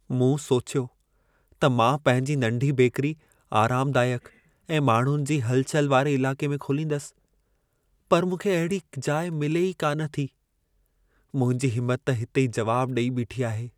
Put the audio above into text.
मूं सोचियो त मां पंहिंजी नंढी बेकरी आरामदाइक ऐं माण्हुनि जी हलचल वारे इलाक़े में खोलींदसि। पर मूंखे अहिड़ी जाइ मिले ई कान थी। मुंहिंजी हिमत त हिते ई जवाब ॾेई बीठी आहे।